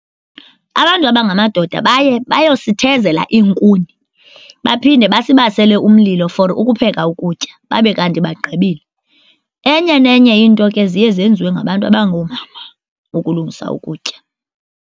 Abantu abangamadoda baye bayosithezela iinkuni baphinde basibasele umlilo for ukupheka ukutya babe kanti bagqibile. Enye nenye iinto ke ziye zenziwe ngabantu abangoomama ukulungisa ukutya.